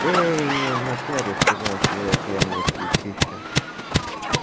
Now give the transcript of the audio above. ты не напялишь его на свои окаянные плечища